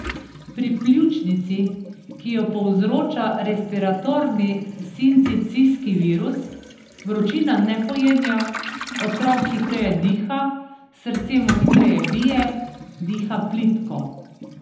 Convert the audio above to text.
Pri pljučnici, ki jo povzroča respiratorni sincicijski virus, vročina ne pojenja, otrok hitreje diha, srce mu hitreje bije, diha plitko.